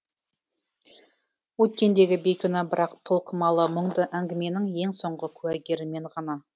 өткендегі бейкүнә бірақ толқымалы мұңды әңгіменің ең соңғы куәгері мен ғана